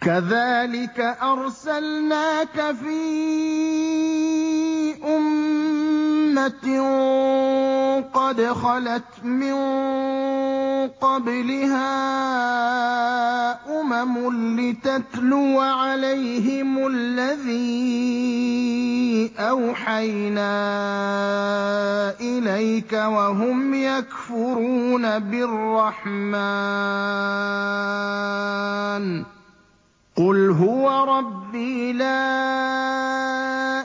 كَذَٰلِكَ أَرْسَلْنَاكَ فِي أُمَّةٍ قَدْ خَلَتْ مِن قَبْلِهَا أُمَمٌ لِّتَتْلُوَ عَلَيْهِمُ الَّذِي أَوْحَيْنَا إِلَيْكَ وَهُمْ يَكْفُرُونَ بِالرَّحْمَٰنِ ۚ قُلْ هُوَ رَبِّي لَا